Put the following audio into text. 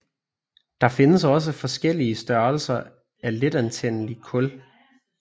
Der findes også forskellige størrelse af letantændelige kul